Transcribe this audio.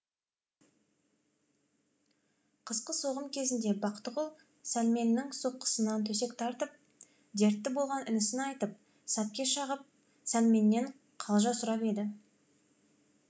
қысқы соғым кезінде бақтығүл сәлменнің соққысынан төсек тартып дертті болған інісін айтып сәтке шағып сәлменнен калжа сұрап еді